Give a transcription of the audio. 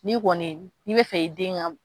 N'i kɔni n'i bɛ fɛ i den ka